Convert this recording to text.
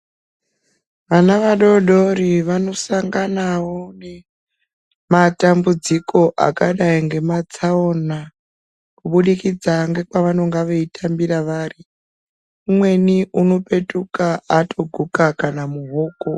Vana vadoodori vanosanganawo nematambudziko akadai ngematsaona kubudikidza ngekwevanonga veitambira vari. Umweni unopetuka atoguka kana muhoko.